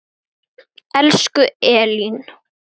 Elsku Elín.